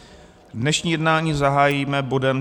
Dnešní jednání zahájíme bodem